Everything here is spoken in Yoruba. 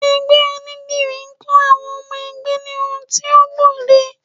Ẹgbẹ́ onídìrí ń kọ́ àwọn ọmọ ẹgbẹ́ ní ohun tí ó gbòde